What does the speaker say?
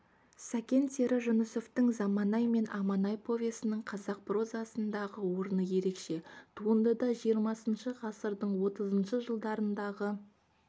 сәкен сері жүнісовтің заманай мен аманай повесінің қазақ прозасындағы орны ерекше туындыда жиырмасыншы ғасырдың отызыншы жылдарындағы